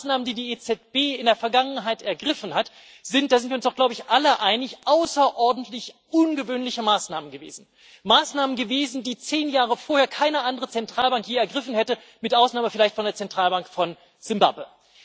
Denn die Maßnahmen, die die EZB in der Vergangenheit ergriffen hat, sind da sind wir uns doch, glaube ich, alle einig außerordentlich ungewöhnliche Maßnahmen gewesen Maßnahmen, die zehn Jahre vorher keine andere Zentralbank je ergriffen hätte, mit Ausnahme vielleicht von der Zentralbank von Simbabwe.